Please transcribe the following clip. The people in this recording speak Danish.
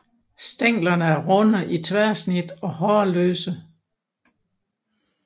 Stænglerne er runde i tværsnit og hårløse